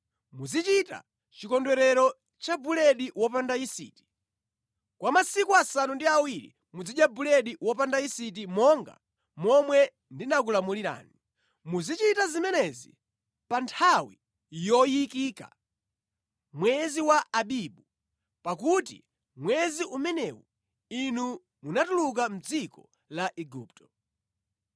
“Muzichita chikondwerero cha buledi wopanda yisiti. Kwa masiku asanu ndi awiri muzidya buledi wopanda yisiti monga momwe ndinakulamulirani. Muzichita zimenezi pa nthawi yoyikika mwezi wa Abibu, pakuti mwezi umenewu inu munatuluka mʼdziko la Igupto.